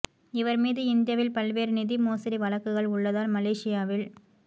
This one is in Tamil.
இவர் மீது இந்தியாவில் பல்வேறு நிதி மோசடி வழக்குகள் உள்ளதால் மலேஷியாவில்